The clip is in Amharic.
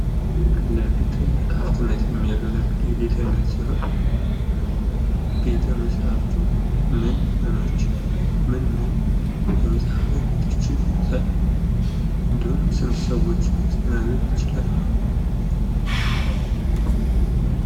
ለቤተ መፅሐፍትነት የሚያገለግል የቤተእምነት ሲሆን ቤተ መፅሃፍቱ ምን ምን የመፅሀፍ አይነቶችን ይይዛል? እንዲሁም ስንት ሰዎችን ማስተናገድ ይችላል?